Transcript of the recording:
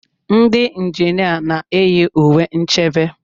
Ndị injinia na-eyi uwe nchebe.